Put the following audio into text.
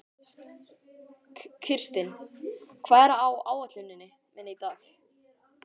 Kirsten, hvað er á áætluninni minni í dag?